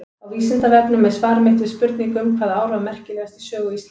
Á Vísindavefnum er svar mitt við spurningu um hvaða ár var merkilegast í sögu Íslands.